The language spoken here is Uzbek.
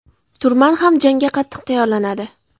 Turman ham jangga qattiq tayyorlanadi.